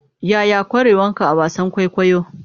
Yaya ƙwarewanka a wasan kwaikwayo?